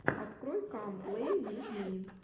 открой кам плей виз ми